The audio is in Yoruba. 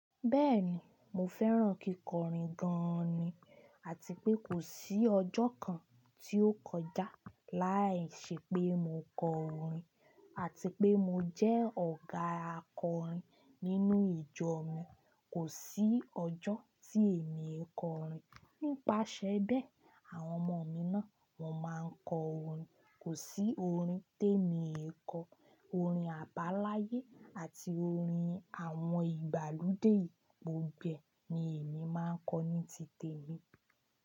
Bẹ́ẹ̀ni, mo fẹ́ràn kíkọrin gan ni, àti pé kò sí ọjọ́ kan tí ó kọjá láìṣẹ pé mo kọ orin, àti pé mo jẹ́ ọ̀gá akọrin nínú ìjọ mi. Kò sí ọjọ́ tí èmi o kò rìn. Nípasẹ̀ bẹ́ẹ̀, àwọn ọmọ mi náà wọn máa ń kọ orin. Kò sí orin tí èmi e kọ. Orin àbáláyé àti orin àwọn ìgbàlódé gbogbo ni èmi máa ń kọ ní tìtẹ̀ mi.